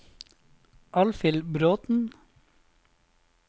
Alfhild Bråten